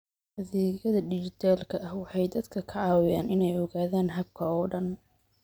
Adeegyada dijitaalka ah waxay dadka ka caawiyaan inay ogaadaan habka oo dhan.